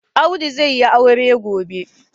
Audu zai yi aure gobe.